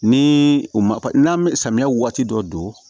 Ni u ma n'an bɛ samiya waati dɔ don